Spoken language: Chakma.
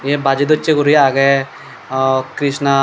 yea baji dochi guri agey ah krishna.